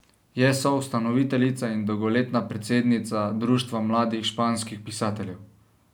Je soustanoviteljica in dolgoletna predsednica Društva mladih španskih pisateljev.